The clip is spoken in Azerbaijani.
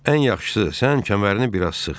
Ən yaxşısı, sən kəmərini bir az sıx.